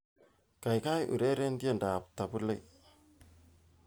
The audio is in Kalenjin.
Kaikai ureren tiendoab Tabu Ley